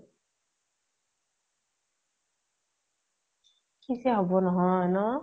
কিযে হʼব নহয়, ন ?